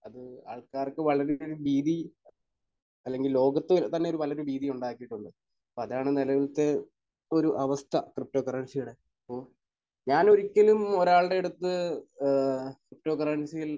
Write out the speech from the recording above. അത് ആൾക്കാർക്ക് വളരെയധികമൊരു ഭീതി അല്ലെങ്കിൽ ലോകത്ത് തന്നെ നല്ലൊരു ഭീതിയുണ്ടാക്കിയിട്ടുണ്ട്. അപ്പോൾ അതാണ് നിലവിലത്തെ ഒരു അവസ്ഥ. ക്രിപ്റ്റോ കറൻസിയുടെ. അപ്പോൾ ഞാൻ ഒരിക്കലും ഒരാളുടെയടുത്ത് ഏഹ് ക്രിപ്റ്റോ കറൻസിയിൽ